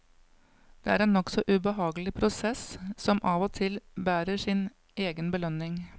Det er en nokså ubehagelig prosess som av og til bærer sin egen belønning.